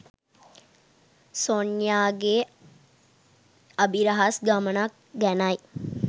සොන්යා ගේ අභිරහස් ගමනක් ගැනයි.